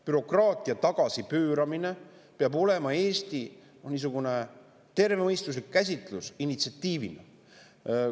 Bürokraatia tagasipööramise initsiatiivi käsitlus peab olema Eestis tervemõistuslik.